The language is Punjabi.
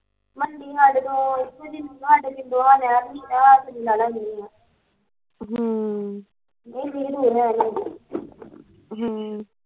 ਮੰਡੀ ਸਾਡੇ ਤੋਂ ਇੱਥੋਂ ਸਾਡੇ ਪਿੰਡ ਤੋਂ ਹਮ ਨਹੀਂ ਰਿਦ ਹੁਣ ਦੇ ਹਮ